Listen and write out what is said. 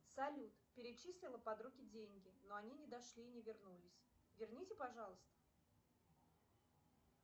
салют перечислила подруге деньги но они не дошли и не вернулись верните пожалуйста